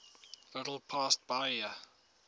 little past bahia